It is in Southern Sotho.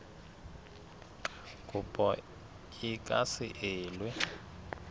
kopo e ka se elwe